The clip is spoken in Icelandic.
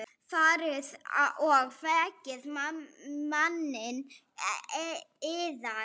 Farið og vekið manninn yðar.